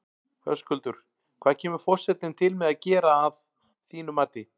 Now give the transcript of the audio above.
Höskuldur, hvað kemur forsetinn til með að gera að þínu mati?